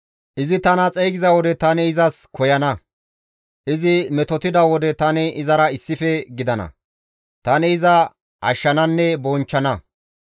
Izi tana xeygiza wode tani izas koyana; izi metotida wode tani izara issife gidana; tani iza ashshananne bonchchana.